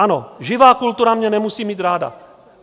Ano, živá kultura mě nemusí mít ráda.